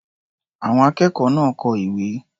Àwọn akẹ́kọ̀ọ́ náà kọ ìwé.